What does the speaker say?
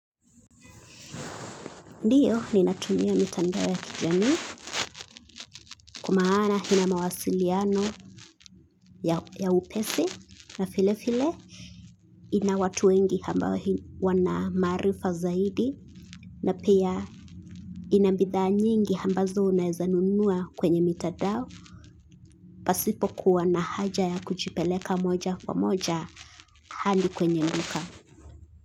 Ndiyo ni natumia mitandao ya kijamii kwamaana ina mawasiliano ya upesi na file file ina watu wengi hambao wanamaarifa zaidi na pia inambitha nyingi hambazo unaezanunua kwenye mitandao pasipo kuwa na haja ya kuchipeleka moja wa moja handi kwenye nduka.